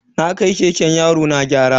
Na kai keken yarona gyara.